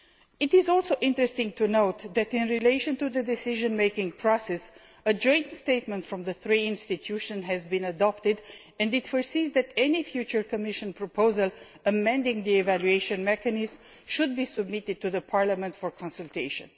It is also interesting to note that in relation to the decision making process, a joint statement from the three institutions has been adopted, and it provides that any future Commission proposal amending the evaluation mechanism should be submitted to Parliament for consultation.